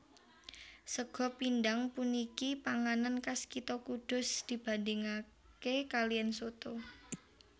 Sega pindhang puniki panganan kas kitha Kudus dibandingake kaliyan soto